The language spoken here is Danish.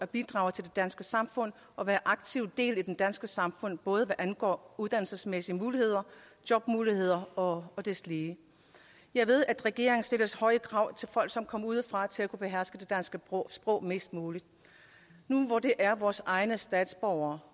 bidrage til det danske samfund og være en aktiv del af det danske samfund både hvad angår uddannelsesmæssige muligheder jobmuligheder og deslige jeg ved at regeringen stiller høje krav til folk som kommer udefra i forhold til at beherske det danske sprog sprog nu hvor det er vores egne statsborgere